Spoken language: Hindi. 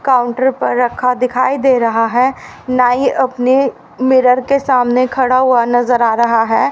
काउंटर पर रखा दिखाई दे रहा है नाई अपने मिरर के सामने खड़ा हुआ नजर आ रहा है।